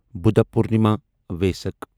Buddha Purnima Vesak